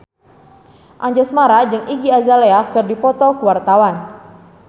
Anjasmara jeung Iggy Azalea keur dipoto ku wartawan